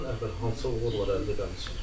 Bundan əvvəl hansı uğurlar əldə eləmisən?